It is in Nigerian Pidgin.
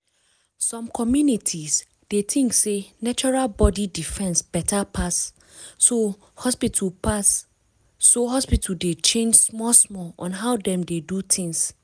some communities dey think sey natural body defence better pass so hospital pass so hospital dey change small small on how dem dey do things.